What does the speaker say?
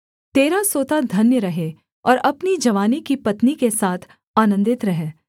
तेरा सोता धन्य रहे और अपनी जवानी की पत्नी के साथ आनन्दित रह